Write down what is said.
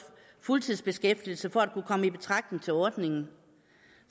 fuldtidsbeskæftigelse for at kunne komme i betragtning til ordningen